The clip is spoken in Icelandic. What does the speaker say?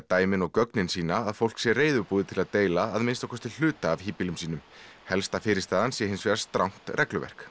dæmin og gögnin sýna að fólk sé reiðubúið til að deila að minnsta kosti hluta af híbýlum sínum helsta fyrirstaðan sé hins vegar strangt regluverk